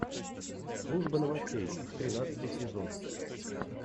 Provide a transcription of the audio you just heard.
служба новостей тринадцатый сезон